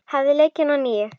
Hafið leikinn að nýju.